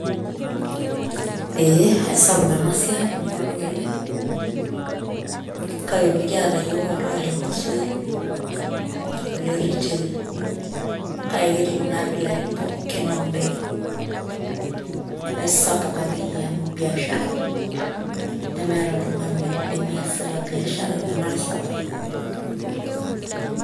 Ee aisapuk ena siai amu olduka ele kake mikiata iyiook olduka le wholesale ole retail kake ketii kuna abilaitin pookin oondaikin aisapuk akeyie amu biashara nemeeta oltung'ani lemiasita biashara tena rishata.